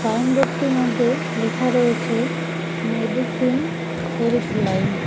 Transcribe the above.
Signboard -টির মধ্যে লেখা রয়েছে মেডিসিন হেল্পলাইন ।